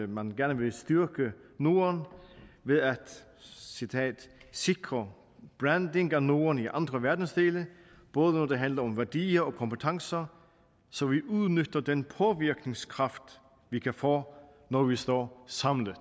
man gerne vil styrke norden ved at sikre branding af norden i andre verdensdele både når det handler om værdier og kompetencer så vi udnytter den påvirkningskraft vi kan få når vi står samlet